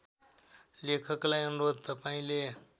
लेखकलाई अनुरोध तपाईँले